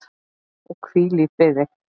Og hvíl í friði.